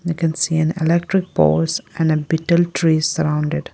We can see an electric poles and an betel trees surrounded.